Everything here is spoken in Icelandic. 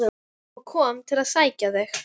og kom til að sækja þig.